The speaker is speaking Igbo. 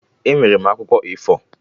Enwere m akwụkwọ A4